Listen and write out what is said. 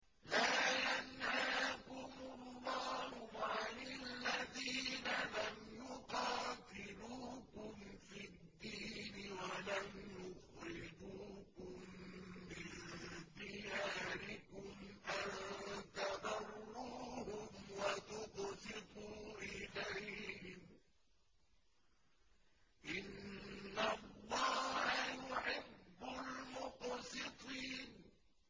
لَّا يَنْهَاكُمُ اللَّهُ عَنِ الَّذِينَ لَمْ يُقَاتِلُوكُمْ فِي الدِّينِ وَلَمْ يُخْرِجُوكُم مِّن دِيَارِكُمْ أَن تَبَرُّوهُمْ وَتُقْسِطُوا إِلَيْهِمْ ۚ إِنَّ اللَّهَ يُحِبُّ الْمُقْسِطِينَ